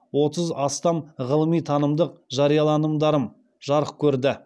отыз астам ғылыми танымдық жарияланымдарым жарық көрді